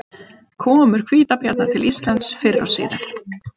Komur hvítabjarna til Íslands fyrr og síðar.